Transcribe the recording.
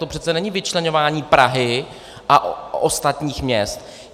To přece není vyčleňování Prahy a ostatních měst.